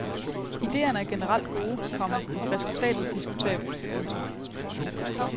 Idéerne er generelt gode, komma resultatet diskutabelt. punktum